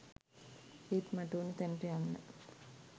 ඒත් මට ඕන තැනට යන්න